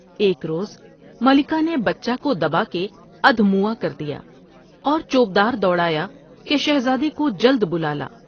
ایک روز ملکہ نے بچہ کو دبا کے ادھ موا کر دیا اور چوب دار دوڑایا کہ شہزادے کو جلد بلالا ۔